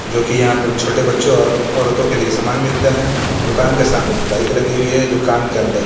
जो की यहां पे छोटे बच्चों का और औरतों के लिए सामान मिलता है दुकान के सामने एक बाइक लगी हुई है दुकान के अंदर --